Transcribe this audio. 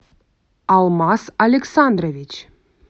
алмаз александрович